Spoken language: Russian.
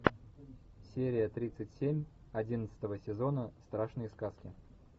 серия тридцать семь одиннадцатого сезона страшные сказки